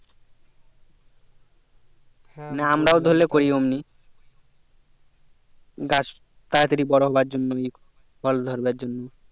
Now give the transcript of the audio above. হ্যাঁ আমরাও ধরলে করি অমনি গাছ তাড়া তাড়ি বড়ো হবে জন্য ফল ধরবার জন্য